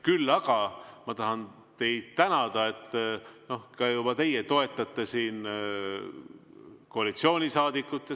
Küll aga tahan teid tänada, et ka teie juba toetate siin koalitsioonisaadikut.